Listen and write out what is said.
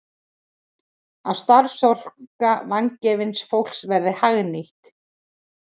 Að starfsorka vangefins fólks verði hagnýtt.